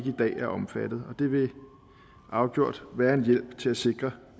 i dag er omfattet det vil afgjort være en hjælp til at sikre